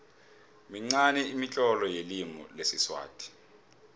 minqani imitlolo yelimi lesiswati